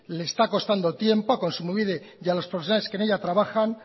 le está constando tiempo a kontsumobide y a los profesionales que en ella trabajan